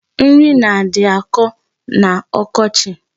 Nri nadị na-akọ n'ọkochi.